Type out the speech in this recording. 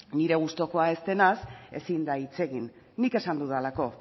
nire gustukoa ez denez ezin da hitz egin nik esan dudalako